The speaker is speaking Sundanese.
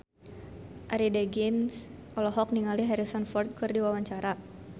Arie Daginks olohok ningali Harrison Ford keur diwawancara